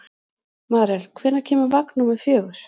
Marel, hvenær kemur vagn númer fjögur?